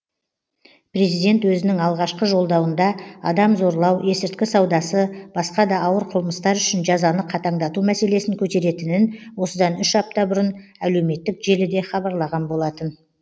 президент өзінің алғашқы жолдауында адам зорлау есірткі саудасы басқа да ауыр қылмыстар үшін жазаны қатаңдату мәселесін көтеретінін осыдан үш апта бұрын әлеуметтік желіде хабарлаған болатын